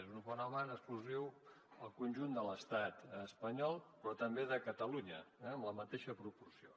és un fenomen exclusiu al conjunt de l’estat espanyol però també de catalunya en la mateixa proporció